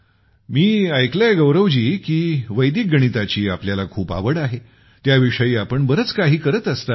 मी ऐकले आहे की वैदिक गणिताची आपल्याला खूप आवड आहे त्या विषयी आपण बरेच काही करत असता